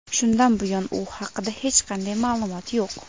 Shundan buyon u haqida hech qanday ma’lumot yo‘q.